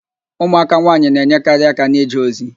Ụmụaka nwaanyị na-enyekarị aka n'ije ozi